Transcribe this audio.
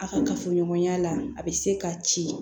A ka kafoɲɔgɔnya la a bɛ se ka ci